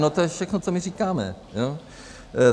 No to je všechno, co my říkáme.